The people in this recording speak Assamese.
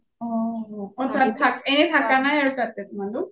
অ এনে থকা নাই আৰু তোমালোক